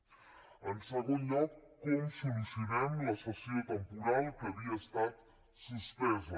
en segon lloc com solucionem la sessió temporal que havia estat suspesa